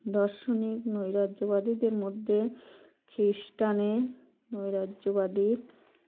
দর্শনীক নৈরাজ্যবাদীদের মধ্যে খৃষ্টানে নৈরাজ্যবাদী